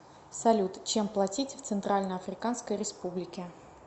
салют чем платить в центральноафриканской республике